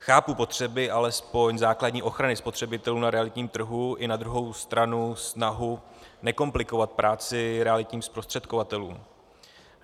Chápu potřeby alespoň základní ochrany spotřebitelů na realitním trhu i na druhou stranu snahu nekomplikovat práci realitním zprostředkovatelům.